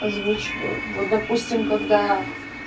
озвучиваю вот допустим когда